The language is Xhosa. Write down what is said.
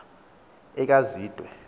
ekazwide